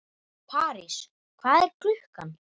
París, hvað er klukkan?